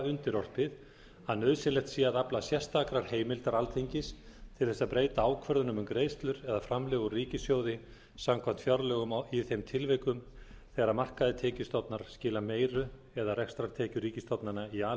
undirorpið að nauðsynlegt sé að afla sérstakrar heimildar alþingis til þess að breyta ákvörðunum um greiðslur eða framlög úr ríkissjóði samkvæmt fjárlögum í þeim tilvikum þegar markaðir tekjustofnar skila meiru eða rekstrartekjur ríkisstofnana í a